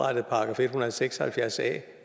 seks og halvfjerds a